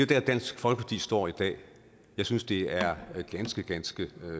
der dansk folkeparti står i dag jeg synes det er ganske ganske